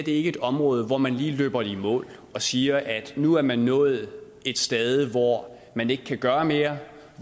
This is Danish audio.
er et område hvor man lige løber det i mål og siger at nu har man nået et stade hvor man ikke kan gøre mere